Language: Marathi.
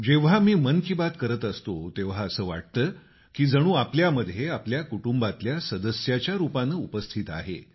जेव्हा मी मन की बात करत असतो तेव्हा असं वाटतं की जणू आपल्यामध्ये आपल्या कुटुंबातल्या सदस्याच्या रूपानं उपस्थित आहे